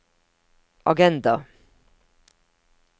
agenda